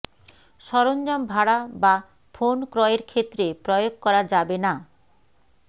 সরঞ্জাম ভাড়া বা ফোন ক্রয়ের ক্ষেত্রে প্রয়োগ করা যাবে না